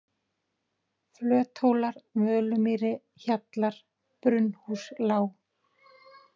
Flöthólar, Völumýri, Hjallar, Brunnhúslág